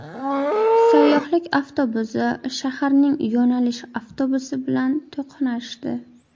Sayyohlik avtobusi shaharning yo‘nalish avtobusi bilan to‘qnashdi.